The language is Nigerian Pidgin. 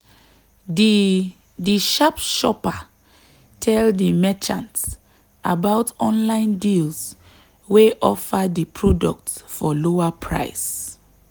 di di sharp shopper tell di merchant about online deals wey offer di product for lower price.